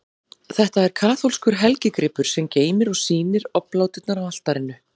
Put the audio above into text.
Þetta er kaþólskur helgigripur, sem geymir og sýnir obláturnar á altarinu.